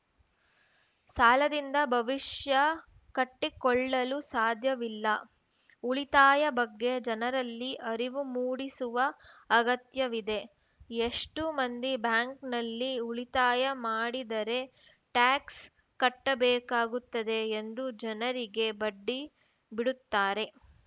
ಸಾಲದಿಂದ ಭವಿಷ್ಯ ಕಟ್ಟಿಕೊಳ್ಳಲು ಸಾಧ್ಯವಿಲ್ಲ ಉಳಿತಾಯದ ಬಗ್ಗೆ ಜನರಲ್ಲಿ ಅರಿವು ಮೂಡಿಸುವ ಅಗತ್ಯವಿದೆ ಎಷ್ಟು ಮಂದಿ ಬ್ಯಾಂಕ್‌ನಲ್ಲಿ ಉಳಿತಾಯ ಮಾಡಿದರೆ ಟ್ಯಾಕ್ಸ್‌ ಕಟ್ಟಬೇಕಾಗುತ್ತದೆ ಎಂದು ಜನರಿಗೆ ಬಡ್ಡಿ ಬಿಡುತ್ತಾರೆ